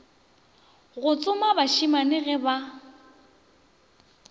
go tsoma bašemane ge ba